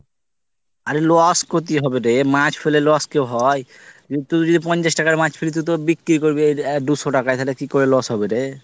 অরে loss ক্ষতি হবে রে মাছ ফেলে loss কেউ হয়? কিন্তু তুই যদি পঞ্চাশ টাকার মাছ ফেলিস তুই তো বিক্রি করবি দুশো টাকায় তাহলে কি করে loss হবে রে?